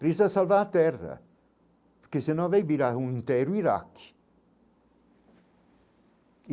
Preste a salvar a terra, porque senão vai virar um iraque.